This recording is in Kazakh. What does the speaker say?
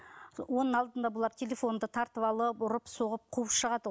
оның алдында бұлар телефонымды тартып алып ұрып соғып қуып шығады